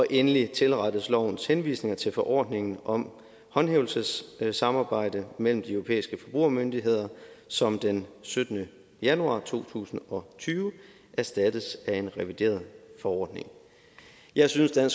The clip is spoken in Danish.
endelig tilrettes lovens henvisninger til forordningen om håndhævelsessamarbejde mellem de europæiske forbrugermyndigheder som den syttende januar to tusind og tyve erstattes af en revideret forordning jeg synes at